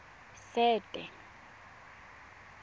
sete